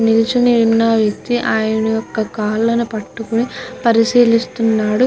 నిలుచొని ఉన్న వ్యక్తి ఆయన యొక్క కాళ్ళు పట్టుకొని పరిశీలిస్తున్నాడు.